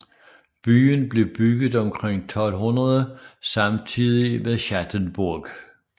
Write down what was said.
Byen blev bygget omkring 1200 samtidigt med Schattenburg